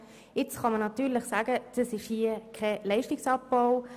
Nun kann man natürlich sagen, es sei kein Leistungsabbau.